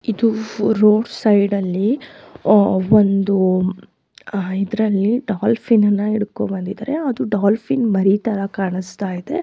ಇದು road side ಅಲ್ಲಿ ಒಂದು ಇದ್ರಲ್ಲಿ ಡಾಫೋನ್ ಅಣ್ಣ ಓದ್ಕೊಂಡ್ ಬಂದಿದಾರೆ ಅದು ಡಾಫಿನೇ ಮರಿ ತರ ಕಾಣಿಸ್ತಾ ಇದೆ.